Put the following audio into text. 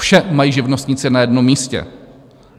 Vše mají živnostníci na jednom místě.